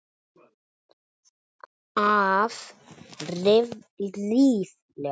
Af ríflega